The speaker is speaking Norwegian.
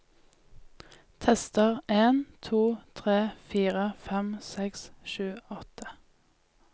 Tester en to tre fire fem seks sju åtte